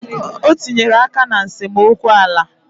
O tinyere aka na nsemokwu ala